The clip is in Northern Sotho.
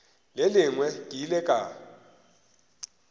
le lengwe ke ile ka